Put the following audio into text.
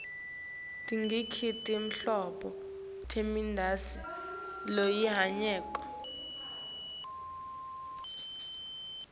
tingaki tinhlobo temidlalo lesinayo